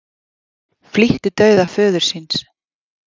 Flýtti dauða föður síns